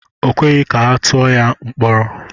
O kweghị ka atụọ ya mkpọrọ.